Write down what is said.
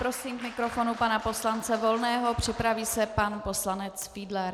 Prosím k mikrofonu pana poslance Volného, připraví se pan poslanec Fiedler.